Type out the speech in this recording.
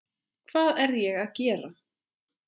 Hvað er ég að gera?